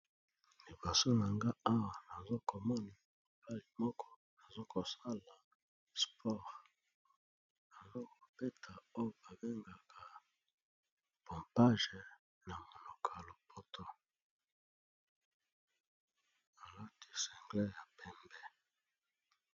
Liboso na nga owa nazokomona mobali moko azokosala sport azokobeta oyo babengaka pompage na monoko ya lopoto alati single ya pembe